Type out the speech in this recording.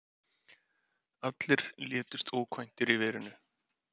Allir létust ókvæntir í verinu.